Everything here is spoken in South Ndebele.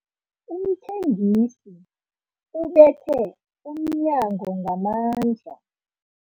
Umthengisi ubethe umnyango ngamandla.